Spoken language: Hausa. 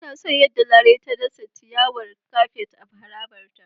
Ina son yadda Larai ta dasa ciyawar kafet a harabarta.